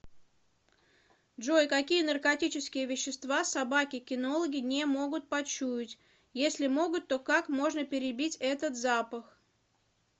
джой какие наркотические вещества собаки кинологи не могут почуять если могут то как можно перебить этот запах